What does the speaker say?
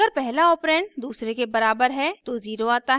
अगर पहला ऑपरेंड दूसरे के बराबर है तो 0 आता है